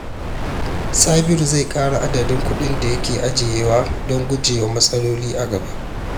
Sabiru zai ƙara adadin kuɗin da yake ajiyewa don gujewa matsaloli a gaba.